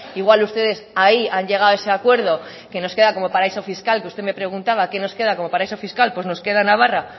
igual ustedes ahí han llegado a ese acuerdo que nos queda como paraíso fiscal que usted me preguntaba qué nos queda como paraíso fiscal pues nos queda navarra